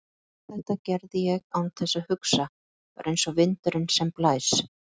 Allt þetta gerði ég án þess að hugsa, bara einsog vindurinn sem blæs.